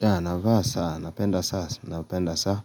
Ya navaa saa, napenda saa, napenda saa